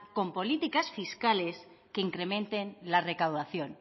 con políticas fiscales que incrementen la recaudación